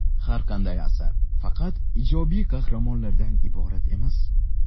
Har qanday asar faqat ijobiy qahramonlardan iborat emas.